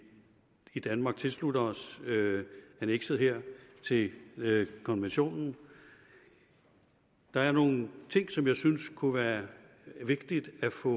i danmark tilslutter os annekset her til konventionen der er nogle ting som jeg synes kunne være vigtigt at få